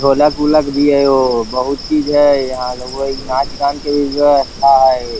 ढोलक उलक भी हाई ओ बहुत चीज हई यहाँ लगा हई नाच गान के भी व्यवस्था हई |